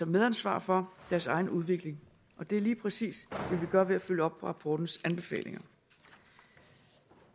medansvar for deres egen udvikling og det er lige præcis det vi gør ved at følge op på rapportens anbefalinger